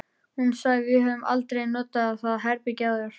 Hún sagði: Við höfum aldrei notað það herbergi áður